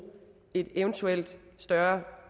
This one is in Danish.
et eventuelt større